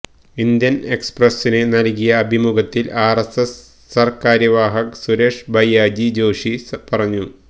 Indian എക്സ്പ്രസ്സിന് നല്കിയ അഭിമുഖത്തിൽ ആര്എസ്എസ് സര്കാര്യവാഹ് സുരേഷ് ഭയ്യാജി ജോഷി പറഞ്ഞു